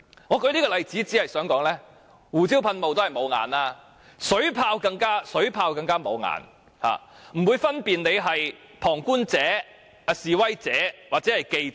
我舉這個例子是想指出，胡椒噴霧固然"無眼"，但水炮更加"無眼"，完全不會分辨哪些是旁觀者、示威者或記者。